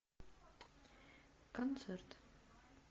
концерт